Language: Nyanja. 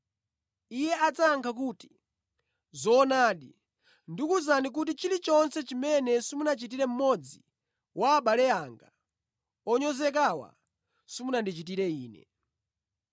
“Iye adzayankha kuti, ‘Zoonadi, ndikuwuzani kuti chilichonse chimene simunachitire mmodzi wa abale anga onyozekawa simunandichitire Ine.’